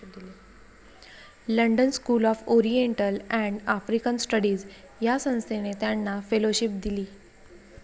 London school of Oriental and African studies या संस्थेने त्यांना फेलोशिप दिली.